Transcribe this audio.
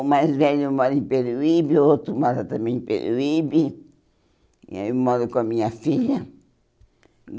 O mais velho mora em Peruíbe, o outro mora também em Peruíbe, e eu moro com a minha filha.